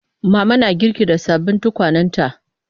Mama na girki da sababbin tukwanenta.